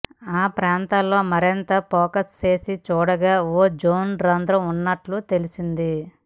ఆ ప్రాంతంలో మరింత ఫోకస్ చేసి చూడగా ఓజోన్ రంధ్రం ఉన్నట్లు తెలిసింది